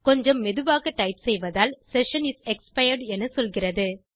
கொஞ்சம் மெதுவாகத் டைப் செய்வதால் செஷன் இஸ் எக்ஸ்பயர்ட் எனச் சொல்கிறது